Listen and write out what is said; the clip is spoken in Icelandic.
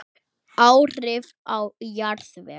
Áhrif á jarðveg